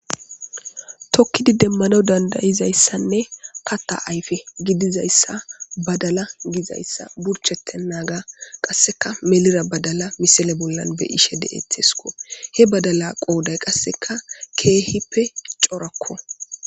Tokkidi demmanaw dandda'izayssane katta ayfe gidizayssa badala gizayssa burchetenaaga qasseka melida badala misile bolla nu be'ishe de'eteesko he badala qooday qasseka keehippe corako.